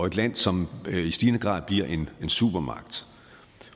et land som i stigende grad bliver en supermagt